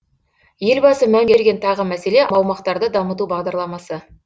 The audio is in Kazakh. елбасы мән берген тағы мәселе аумақтарды дамыту бағдарламасы